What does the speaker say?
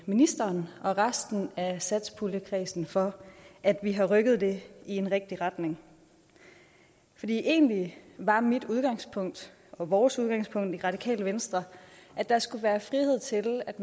ministeren og resten af satspuljekredsen for at vi har rykket det i en rigtig retning egentlig var mit udgangspunkt og vores udgangspunkt i radikale venstre at der skulle være frihed til at